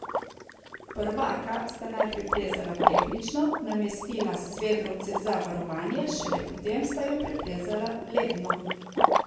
Prvaka sta najprej plezala tehnično, namestila svedrovce za varovanje, šele potem sta jo preplezala ledno.